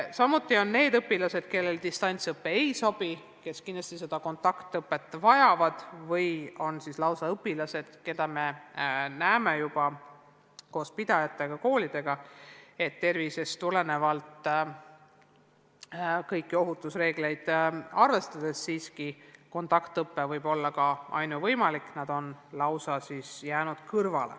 Samuti on meil need õpilased, kellele distantsõpe ei sobi ja kes seetõttu kontaktõpet vajavad, ning need õpilased, kelle puhul me näeme juba koos kooli pidajate ja koolidega, et tervisest tulenevalt ja kõiki ohutusreegleid arvestades võib kontaktõpe olla ainuvõimalik – nemad on lausa kõrvale jäänud.